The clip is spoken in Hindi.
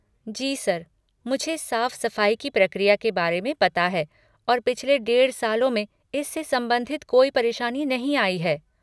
जी सर, मुझे साफ़ सफ़ाई की प्रक्रिया के बारे में पता है और पिछले डेढ़ सालों में इससे संबंधित कोई परेशानी नहीं आई है।